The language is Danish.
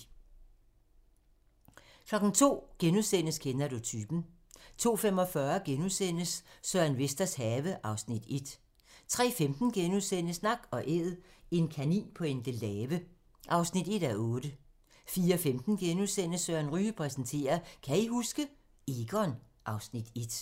02:00: Kender du typen? * 02:45: Søren Vesters have (Afs. 1)* 03:15: Nak & Æd - en kanin på Endelave (1:8)* 04:15: Søren Ryge præsenterer: Kan I huske? - Egon (Afs. 1)*